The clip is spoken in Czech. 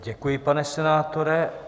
Děkuji, pane senátore.